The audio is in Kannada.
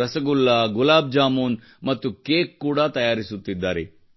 ರಸಗುಲ್ಲಾ ಗುಲಾಬ್ ಜಾಮೂನ್ ಮತ್ತು ಕೇಕ್ ಕೂಡಾ ತಯಾರಿಸುತ್ತಿದ್ದಾರೆ